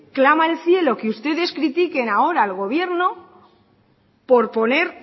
clama al cielo que ustedes critiquen ahora al gobierno por poner